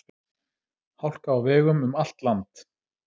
Hálka á vegum um allt land